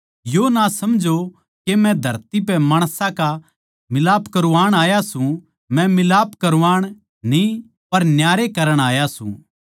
यो ना समझो के मै धरती पे माणसां का मिलाप करवाण आया सूं मै मिलाप करवाण न्ही पर न्यारे करण आया सूं